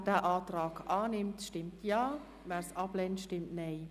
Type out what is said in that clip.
Wer den Antrag annimmt, stimmt Ja, wer diesen ablehnt, stimmt Nein.